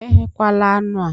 Eghekwala anụ a!